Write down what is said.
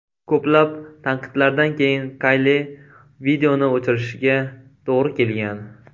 Ko‘plab tanqidlardan keyin Kayli, videoni o‘chirishiga to‘g‘ri kelgan.